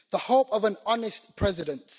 The hope of an honest president.